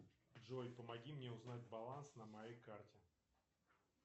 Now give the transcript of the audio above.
джой помоги мне узнать баланс на моей карте